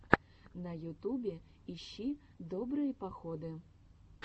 на ютубе ищи добрые походы